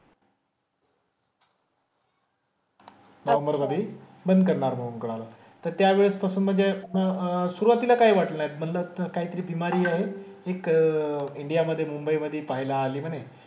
नोव्हेंबरमधे. बंद करणारा म्हणून कळालं. तर त्यावेळेस तसं म्हणजे अह सुरुवातीला काही वाटलं नाही. म्हंटलं काहीतरी बिमारी आहे. एक इंडियामधे, मुंबईमधे पाहायला आले म्हणे.